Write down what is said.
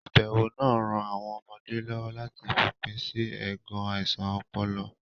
Ìbẹ̀wò náà ń ran àwọn ọmọdé lọ́wọ́ láti fòpin sí ẹ̀gàn àìsàn ọpọlọ.